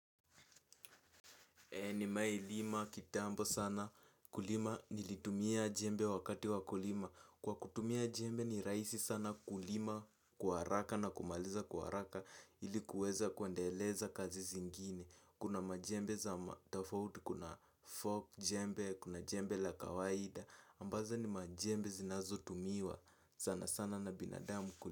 Nimeailima kitambo sana kulima nilitumia jembe wakati wa kulima. Kwa kutumia jembe ni rahisi sana kulima kwa haraka na kumaliza kwa haraka, ili kuweza kuendeleza kazi zingine. Kuna majembe za tofauti, kuna folk jembe, kuna jembe la kawaida ambazo ni majembe zinazotumiwa sana sana na binadamu kulima.